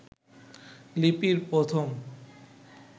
লিপির প্রথম